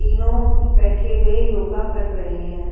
तीनों बैठे हुए योगा कर रहे है।